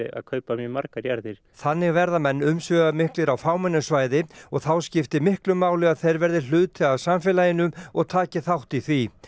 að kaupa mjög margar jarðir þannig verði menn umsvifamiklir á fámennu svæði og þá skipti miklu máli að þeir verði hluti af samfélaginu og taki þátt í því